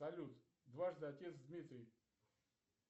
салют дважды отец дмитрий